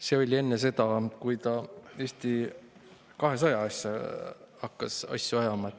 See oli enne seda, kui ta Eesti 200 asju hakkas ajama.